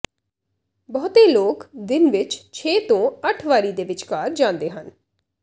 ਬਹੁਤੇ ਲੋਕ ਦਿਨ ਵਿੱਚ ਛੇ ਤੋਂ ਅੱਠ ਵਾਰੀ ਦੇ ਵਿਚਕਾਰ ਜਾਂਦੇ ਹਨ